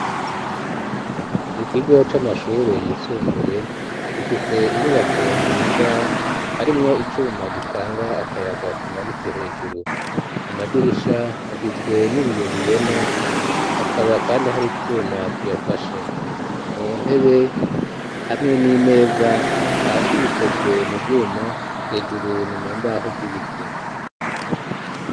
Ikigo c'amashure yisumbuye gifise inyubako nziza harimwo icuma gitanga akayaga kimanitse hejuru amadirisha hagizwe n'ibiyo bibona hakaba kandi hari twuma tuyafashe, mu ntebe hamwe n'imeza hafi bikozwe mu vyuma hejuru ni mu mbaho z'ibiti.